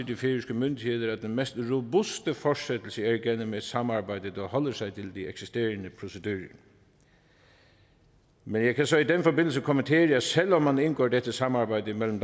de færøske myndigheder at den mest robuste fortsættelse er igennem et samarbejde der holder sig til de eksisterende procedurer men jeg kan så i den forbindelse kommentere at selv om man indgår dette samarbejde mellem